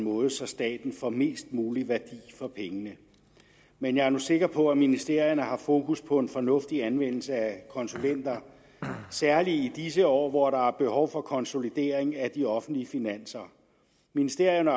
måde så staten får mest mulig værdi for pengene men jeg er nu sikker på at ministerierne har fokus på en fornuftig anvendelse af konsulenter særlig i disse år hvor der er behov for konsolidering af de offentlige finanser ministerierne